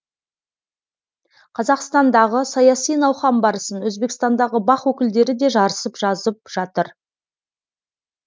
қазақстандағы саяси науқан барысын өзбекстандағы бақ өкілдері де жарысып жазып жатыр